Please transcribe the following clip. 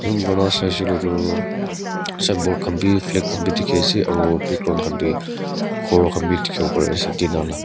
zoom kurina saishae koilae toh signboard khan bi flag khan bi diki asae aro background khan bi kor khan bi dikipo pari asae tina laa.